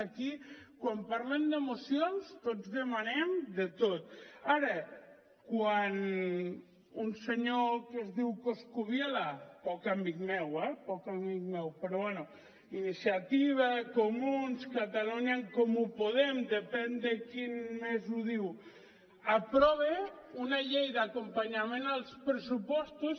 aquí quan parlem de mocions tots demanem de tot ara quan un senyor que es diu coscubiela poc amic meu eh poc amic meu però bé iniciativa comuns catalunya en comú podem depèn de qui més ho diu aprova una llei d’acompanyament als pressupostos